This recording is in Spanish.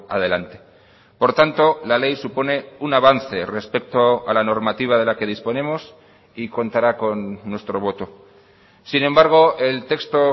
adelante por tanto la ley supone un avance respecto a la normativa de la que disponemos y contará con nuestro voto sin embargo el texto